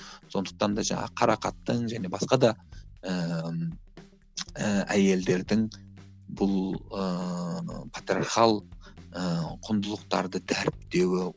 сондықтан да жаңағы қарақаттың және басқа да ііі әйелдердің бұл ыыы патриархал ыыы құндылықтарды дәріптеуі